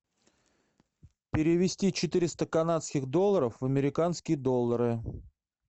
перевести четыреста канадских долларов в американские доллары